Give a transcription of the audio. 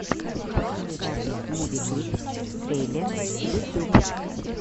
покажи запись муви клипс трейлерс ютюб